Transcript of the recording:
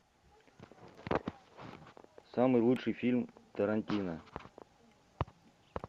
самый лучший фильм тарантино